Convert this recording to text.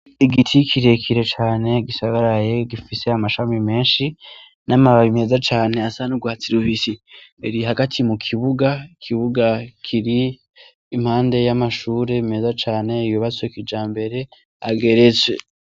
Igiti kire kire cane gisagaraye gifise amashami menshi n' amababi meza cane asa n' ugwatsi rubisi kiri hagati mukibuga ikibuga kiri impande y' amashure meza cane yubatse kijambere ageretswe.